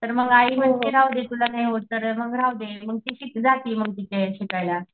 तर आई म्हंटली राहूदे तूला काय होत नाही मग राहूदे मग ती जाती तिच्या इथं शिलकायला.